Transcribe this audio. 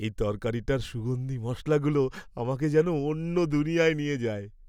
এই তরকারিটার সুগন্ধী মশলাগুলো আমাকে যেন অন্য দুনিয়ায় নিয়ে যায়।